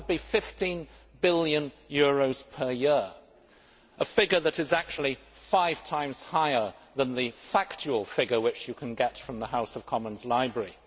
That would be EUR 15 billion per year a figure that is actually five times higher than the factual figure, which you can get from the House of Commons library.